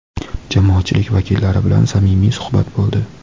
jamoatchilik vakillari bilan samimiy suhbat bo‘ldi.